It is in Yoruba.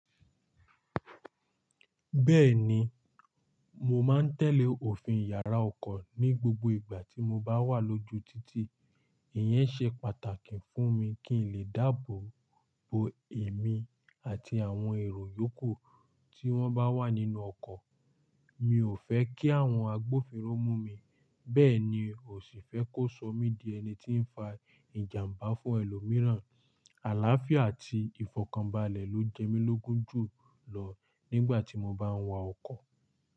Bẹ́ẹ̀ni, mo máa ń tẹ̀lé òfin ìyára ọkọ̀ ní gbogbo ìgbà tí mo bá wà lójú títì. Ìyẹn ṣe pàtàkì fún mi kí n lè dábò bo èmi àti àwọn èrò yòókù tí wọ́n bá wà nínú ọkọ̀. Mi ò fẹ́ kí àwọn agbófinró mú mi, bẹ́ẹ̀ ni ò sì fẹ́ kó sọ mí di ẹni tí ń fa ìjàmbá fún ẹlòmíràn. Àlááfíà àti ìfọ̀kànbalẹ̀ ló jẹ mí lógún jù lọ, nígbà tí mó bá ń wà ọkọ̀.